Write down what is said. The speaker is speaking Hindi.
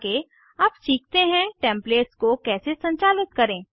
आगे अब सीखते हैं टेम्पलेट्स को कैसे संचालित करें